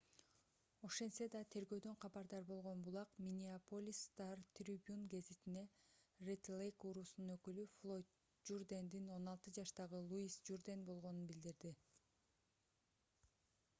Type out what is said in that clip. ошентсе да тергөөдөн кабардар болгон булак миннеаполис стар трибюн гезитине ред лейк уруусунун өкүлү флойд журдендин 16 жаштагы луис журден болгонун билдирди